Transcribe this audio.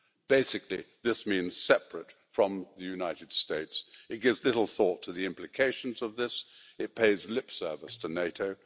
Basically, this means separate from the United States'. It gives little thought to the implications of this it pays lip service to NATO